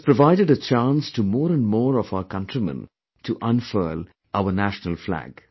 This provided a chance to more and more of our countrymen to unfurl our national flag